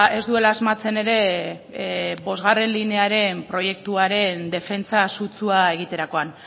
ez duela asmatzen ere bostgarrena linearen proiektuaren defentsa sutsua egiterakoan